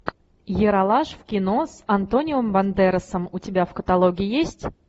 ералаш в кино с антонио бандерасом у тебя в каталоге есть